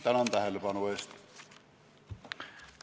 Tänan tähelepanu eest!